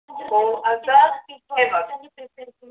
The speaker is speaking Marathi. हो अर्थात हे बघ